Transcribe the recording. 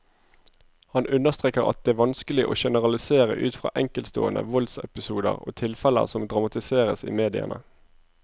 Han understreker at det vanskelig å generalisere ut fra enkeltstående voldsepisoder og tilfeller som dramatiseres i mediene.